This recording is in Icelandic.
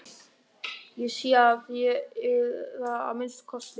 Ég sé að þér eruð það að minnsta kosti.